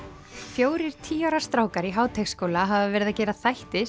fjórir tíu ára strákar í Háteigsskóla hafa verið að gera þætti